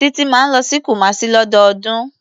Títí máa ń lọ sí Kumasi lọ́dọọdún.